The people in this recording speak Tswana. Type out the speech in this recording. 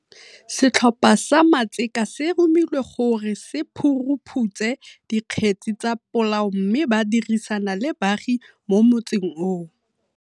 Setlhopha sa matseka se romilwe gore se phuruphutse dikgetse tsa polao mme ba dirisana le baagi mo motseng oo.